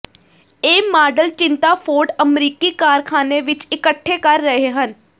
ਇਹ ਮਾਡਲ ਚਿੰਤਾ ਫੋਰਡ ਅਮਰੀਕੀ ਕਾਰਖਾਨੇ ਵਿਚ ਇਕੱਠੇ ਕਰ ਰਹੇ ਹਨ